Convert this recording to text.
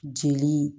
Jeli